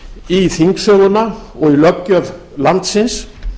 í þingsöguna og í löggjöf landsins